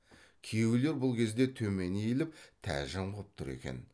күйеулер бұл кезде төмен иіліп тәжім қып тұр екен